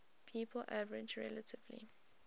people average relatively